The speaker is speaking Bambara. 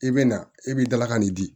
I bɛ na e b'i dalakan nin di